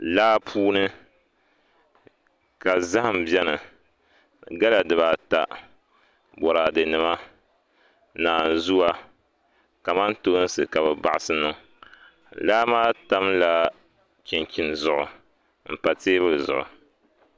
Laa puuni ka zaham bɛni gala dibaata boraadɛ nima naanzua kamantoosi ka bi baɣasi niŋ laa maa tamla chinchin zuɣu n pa teebuli zuɣu